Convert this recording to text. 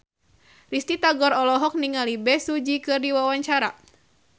Risty Tagor olohok ningali Bae Su Ji keur diwawancara